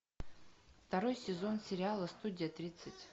второй сезон сериала студия тридцать